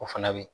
O fana bɛ ye